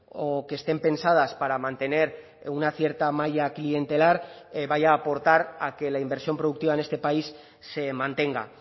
o que estén pensadas para mantener una cierta malla clientelar vaya a aportar a que la inversión productiva en este país se mantenga